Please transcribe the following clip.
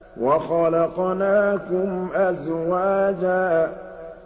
وَخَلَقْنَاكُمْ أَزْوَاجًا